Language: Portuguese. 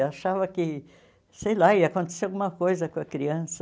Eu achava que, sei lá, ia acontecer alguma coisa com a criança.